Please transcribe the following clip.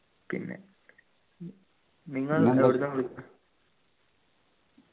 പിന്നെ നിങ്ങൾ എവിടെന്നു വിളി